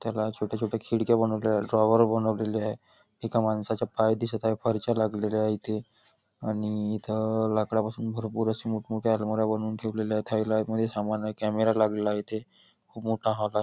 त्याला छोट्या छोट्या खिडक्या बनवलेल्या आहेत ड्रॉवर बनवलेलं आहे एका माणसाचा पाय दिसत आहे फारश्या लागल्या आहेत आणि इथ लाकडापासून खूप मोठं मोठ्या सह्या आलमाऱ्या बनवून ठेवल्या आहेत आतमध्ये सामान आहे कॅमेरे लागलेत इथे खूप मोठा हॉल आहे.